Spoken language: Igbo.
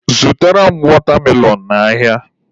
Zụtara m watermelon n'ahịa!.